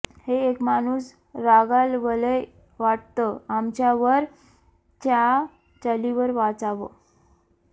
हे एक माणूस रागावलंय वाटतं आमच्यावर च्या चालीवर वाचावं